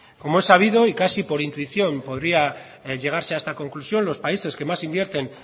como es sabido y casi por intuición podría llegarse a esta conclusión los países que más invierten